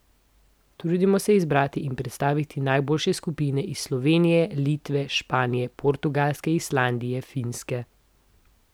Trudimo se izbrati in predstaviti najboljše skupine iz Slovenije, Litve, Španije, Portugalske, Islandije, Finske ...